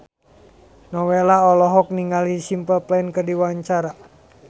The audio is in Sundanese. Nowela olohok ningali Simple Plan keur diwawancara